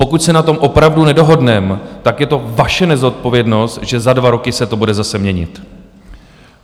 Pokud se na tom opravdu nedohodneme, tak je to vaše nezodpovědnost, že za dva roky se to bude zase měnit.